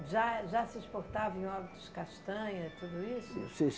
Já jã se exportava em óbidos castanha tudo isso? Sim